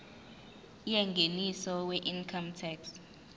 yengeniso weincome tax